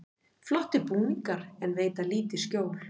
Flottir búningar en veita lítið skjól